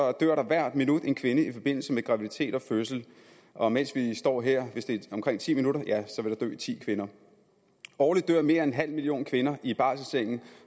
at der hvert minut dør en kvinde i forbindelse med graviditet og fødsel og mens vi står her vil de omkring ti minutter dø ti kvinder årligt dør mere end en halv million kvinder i barselssengen